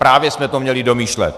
Právě jsme to měli domýšlet.